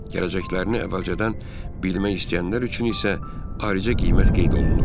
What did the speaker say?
Gələcəklərini əvvəlcədən bilmək istəyənlər üçün isə ayrıca qiymət qeyd olunurdu.